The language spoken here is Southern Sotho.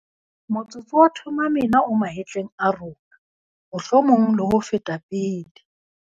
Motsotso wa Thuma Mina o mahetleng a rona, mohlomong ho feta pele.